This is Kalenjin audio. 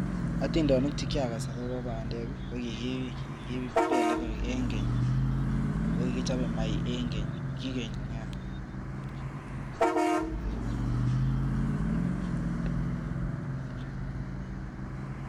Atindonik che kiakas akobo bandek ko kikipele eng keny ako kikichope maiyek eng keny, kikeny nea.